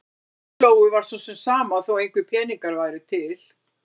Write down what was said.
Lóu-Lóu var svo sem sama þó að engir peningar væru til.